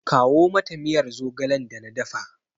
Kawo mata miyar zogalen da na dafa!